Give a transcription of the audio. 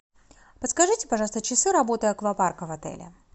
подскажите пожалуйста часы работы аквапарка в отеле